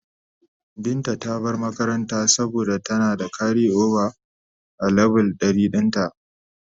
Binta ta bar makaranta saboda tana da karioba a leve 100 dinta.